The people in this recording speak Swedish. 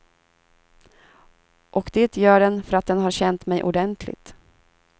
Och det gör den för att den har känt mig ordentligt.